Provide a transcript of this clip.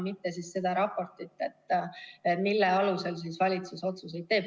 Mitte siis seda raportit, mille alusel valitsus otsuseid teeb.